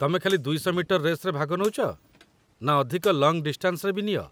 ତମେ ଖାଲି ୨୦୦-ମିଟର ରେସ୍‌ରେ ଭାଗ ନଉଚ ନା ଅଧିକ ଲଙ୍ଗ୍‌ ଡିଷ୍ଟାନ୍‌ସରେ ବି ନିଅ?